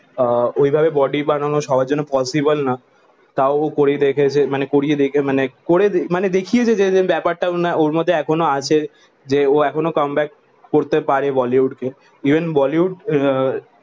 আহ ওই ভাবে বডি বানাও সবার জন্য পসিবল না তও ও করিয়ে দেখেছে মানে করিয়ে দেখে মানে করিয়ে দেখে মানে করে মানে দেখিয়েছে যে ব্যাপার তা ওরে মধ্যে এখনো আছে যে যখন কমে ব্যাক করতে অরে বলিউডে ইভেন বলিউড আহ